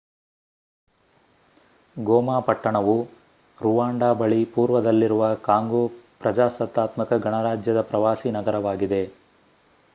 ಗೋಮಾ ಪಟ್ಟಣವು ರುವಾಂಡಾ ಬಳಿ ಪೂರ್ವದಲ್ಲಿರುವ ಕಾಂಗೋ ಪ್ರಜಾಸತ್ತಾತ್ಮಕ ಗಣರಾಜ್ಯದ ಪ್ರವಾಸಿ ನಗರವಾಗಿದೆ